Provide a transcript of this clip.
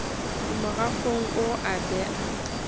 a morafong oo a bea